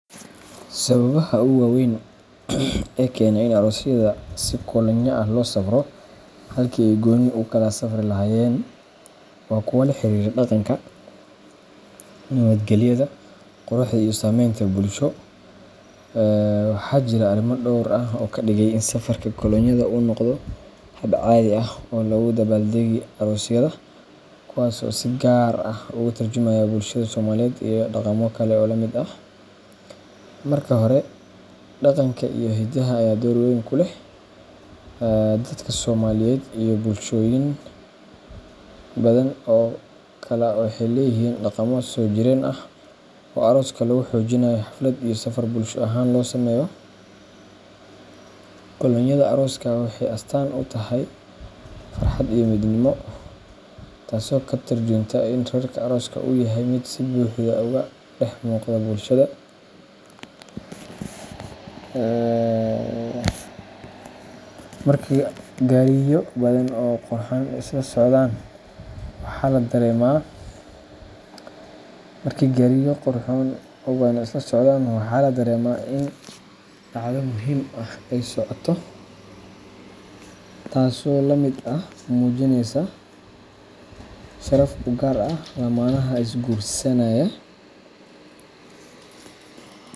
Sababaha ugu waaweyn ee keena in aroosyada si kolonyo ah loo safro halkii ay gooni u kala safri lahaayeen waa kuwo la xiriira dhaqanka, nabadgelyada, quruxda iyo saamaynta bulsho. Waxaa jira arrimo dhowr ah oo ka dhigay in safarka kolonyada uu noqdo hab caadi ah oo loogu dabaal-dego aroosyada, kuwaas oo si gaar ah uga tarjumaya bulshada Soomaaliyeed iyo dhaqamo kale oo la mid ah. Marka hore, dhaqanka iyo hidaha ayaa door weyn ku leh. Dadka Soomaaliyeed iyo bulshooyin badan oo kale waxay leeyihiin dhaqamo soo jireen ah oo arooska lagu xoojinayo xaflad iyo safar bulsho ahaan loo sameeyo. Kolonyada arooska waxay astaan u tahay farxad iyo midnimo, taasoo ka tarjunta in reerka arooska uu yahay mid si buuxda uga dhex muuqda bulshada. Marka gaariyo badan oo qurxan ay isla socdaan, waxaa la dareemaa in dhacdo muhiim ah ay socoto, taasoo ah mid lagu muujinayo sharaf u gaar ah lamaanaha is guursanaya.